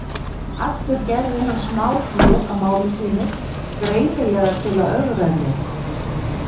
Aftur gerði hann smáhlé á máli sínu, greinilega til að ögra henni.